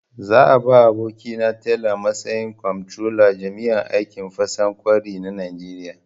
Za a ba abokina Talle matsayin kwamtrolan jami'an aikin fasa ƙwauri na Najeriya.